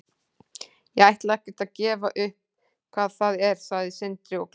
Ég ætla ekkert að gefa upp hvað það er, sagði Sindri og glotti.